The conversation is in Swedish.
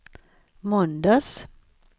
måndags